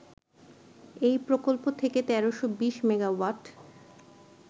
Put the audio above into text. এই প্রকল্প থেকে ১৩২০ মেগাওয়াট